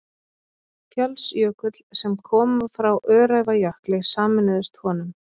Fjallsjökull, sem koma frá Öræfajökli, sameinuðust honum.